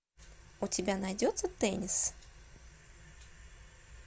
у тебя найдется теннис